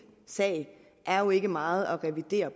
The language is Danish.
sag er jo ikke meget at revidere